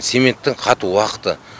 цементтің қату уақыты